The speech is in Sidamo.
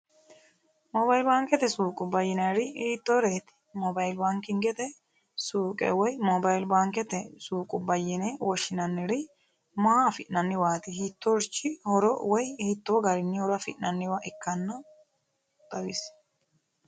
moobaali baankete suuqubba yinaari hittooreeti mobaali baankete suuqe woy mobaali baankete baankuwa yine woshshinanniri maa afi'nniwaati hiittorich horo woy hiitoo garinni horo afi'nanniwa ikkanno xawissanno